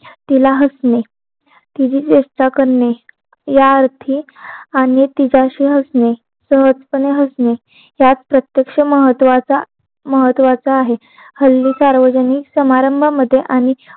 तिला हसणे तिची व्यक्ता करणे या अर्थी आणि तिच्याशी हसणे सहजपणे हसणे यात प्रत्यक्ष महत्वाचा महत्वाचा आहे हल्ली सार्वजनिक समारंभामध्ये आणि